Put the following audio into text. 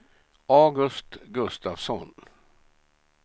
August Gustafsson